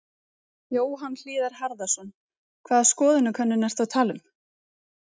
Jóhann Hlíðar Harðarson: Hvaða skoðanakönnun ertu að tala um?